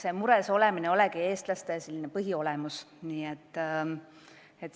Eks mures olemine kuulub eestlaste põhiolemusse.